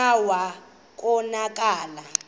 kclta wa konakala